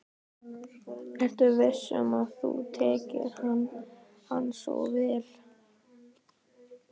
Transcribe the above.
Ertu viss um að þú þekkir hann svo vel?